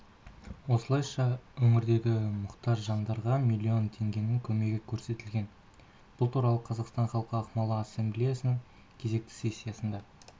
осылайша өңірдегі мұқтаж жандарға млн теңгенің көмегі көрсетілген бұл туралы қазақстан халқы ақмола ассамблеясының кезекті сессиясында